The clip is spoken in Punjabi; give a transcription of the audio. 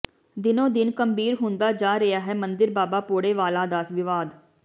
ਦਿਨੋਂ ਦਿਨ ਗੰਭੀਰ ਹੁੰਦਾ ਜਾ ਰਿਹਾ ਹੈ ਮੰਦਿਰ ਬਾਬਾ ਭੌੜੇ ਵਾਲਾ ਦਾ ਵਿਵਾਦ